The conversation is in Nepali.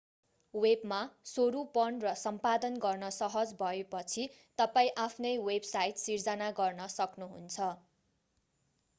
वेबमा स्वरूपण र सम्पादन गर्न सहज भएपछि तपाईं आफ्नै वेबसाइट सिर्जना गर्न सक्नुहुन्छ